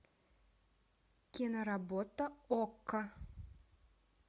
киноработа окко